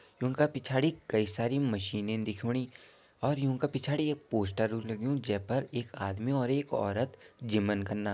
यूंका पिछाड़ी कई सारी मशीनयन दिखोणी और यूंका पिछाड़ी एक पोस्टर लग्युं जै फर एक आदमी और औरत जिमन कना।